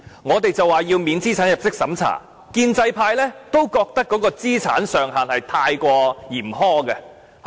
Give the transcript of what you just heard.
我們要求不設資產入息審查，建制派也覺得那個資產上限過於嚴苛。